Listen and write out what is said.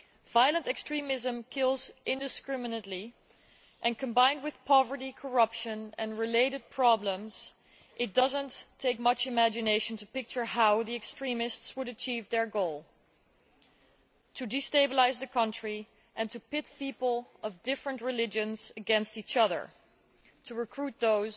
Violent extremism kills indiscriminately and, combined with poverty, corruption and related problems, it does not take much imagination to picture how the extremists would achieve their goal to destabilise the country, to pit people of different religions against each other and to recruit those